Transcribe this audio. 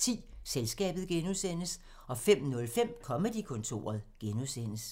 04:10: Selskabet (G) 05:05: Comedy-kontoret (G)